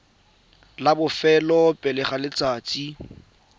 la bofelo pele ga letsatsi